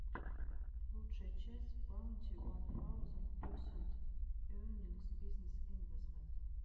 лучшая часть баунти уан таузенд персент эернингс бизнесс инвэстментс